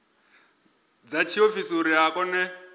dza tshiofisi uri a kone